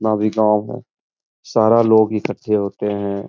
ना भी गाँव हो सारा लोग इक्कठे होते हैं।